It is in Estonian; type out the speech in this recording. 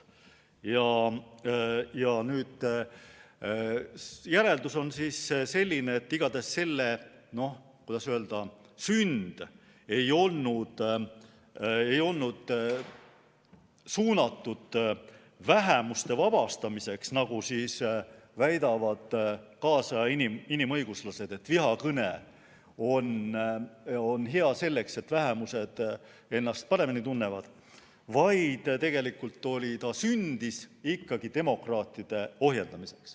Järeldus on selline, et igatahes selle, kuidas öelda, sünd ei olnud suunatud vähemuste vabastamisele, nagu väidavad tänapäeva inimõiguslased, kelle sõnul vihakõne on hea selleks, et vähemused ennast paremini tunneksid, vaid tegelikult sündis see ikkagi demokraatide ohjeldamiseks.